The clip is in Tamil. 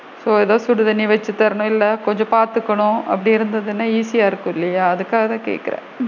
So ஏதோ சுடு தண்ணீ வச்சு தரனும் இல்ல கொஞ்சம் பாத்துக்கணும் அப்படி இருந்ததுன்னா easy யா இருக்கும் இல்லையா அதுக்காகத் தான் கேக்குறேன்.